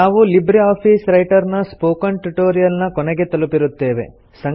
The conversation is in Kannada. ನಾವು ಲಿಬ್ರೆ ಆಫೀಸ್ ರೈಟರ್ ನ ಸ್ಪೋಕನ್ ಟ್ಯುಟೊರಿಯಲ್ ನ ಕೊನೆಯನ್ನು ತಲುಪಿರುತ್ತೇವೆ